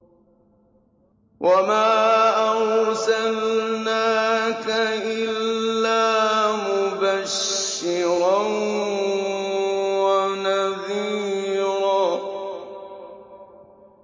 وَمَا أَرْسَلْنَاكَ إِلَّا مُبَشِّرًا وَنَذِيرًا